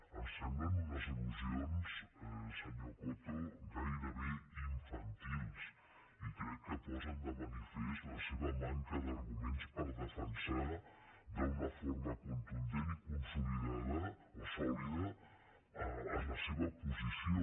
em semblen unes allusions senyor coto gairebé infantils i crec que posen de manifest la seva manca d’arguments per defensar d’una forma contundent i consolidada o sòlida la seva posició